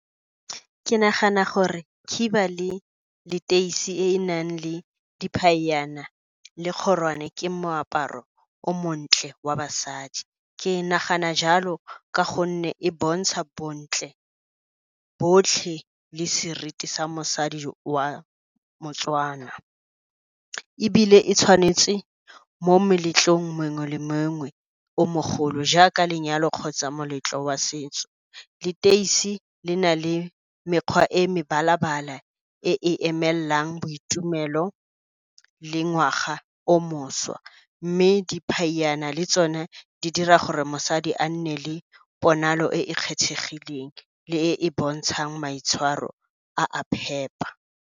Ke nagana gore khiba le leteisi e e nang le le kgorwane, ke moaparo o montle wa basadi. Ke nagana jalo ka gonne e bontsha bontle botlhe le seriti sa mosadi wa moTswana. Ebile e tshwanetse mo meletlong mongwe le mongwe o mogolo jaaka lenyalo kgotsa moletlo wa setso. Leteisi le na le mekgwa e mebala-bala e e emelang boitumelo le ngwaga o mošwa. Mme diphaiyana le tsone, di dira gore mosadi a nne le ponalo e e kgethegileng le e e bontshang maitshwaro a a phepa.